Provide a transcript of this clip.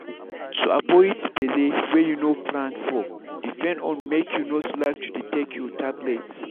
to avoid belle wey you no plan for depend on make you no slack to dey take your your tablet.